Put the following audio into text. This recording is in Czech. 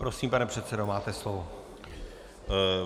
Prosím, pane předsedo, máte slovo.